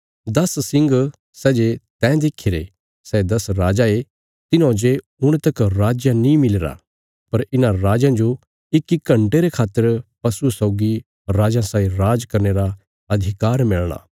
दस सिंग सै जे तैं देखीरे सै दस राजा ये तिन्हौं जे हुण तक राज नीं मिलीरा पर इन्हां राजयां जो इक्की घण्टे रे खातर पशुये सौगी राजयां साई राज करने रा अधिकार मिलणा